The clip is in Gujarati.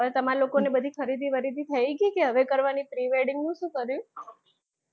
તમારે લોકો ને બધી ખરીદી બરીદી થયી ગયી કે હવે કરવાની pre - wedding નું શું કર્યું.